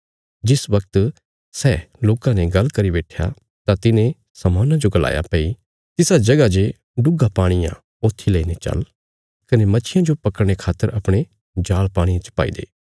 जिस बगत सै लोकां ने गल्ल करी बैट्ठया तां तिने शमौना जो गलाया भई तिसा जगह जे डुग्गा पाणी आ ऊथी लेईने चल कने मच्छियां जो पकड़ने खातर अपणे जाल़ पाणिये च पाई दे